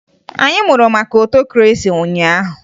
Anyị mụrụ maka ọtokresi ụnyaahụ